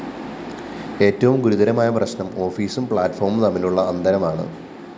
ഏറ്റവും ഗുരുതരമായ പ്രശ്‌നം ഓഫീസും പ്ലാറ്റ്‌ഫോമും തമ്മിലുള്ള അന്തരമാണ്